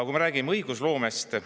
Kui me räägime õigusloomest …